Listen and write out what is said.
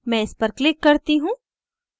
मैं इस पर click करती हूँ